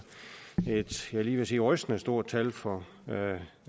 lige ved at sige rystende stort tal for